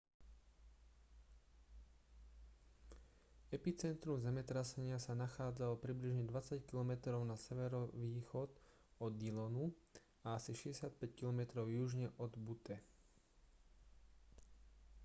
epicentrum zemetrasenia sa nachádzalo približne 20 km na severovýchod od dillonu a asi 65 km južne od butte